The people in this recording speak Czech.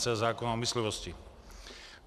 c) zákona o myslivosti.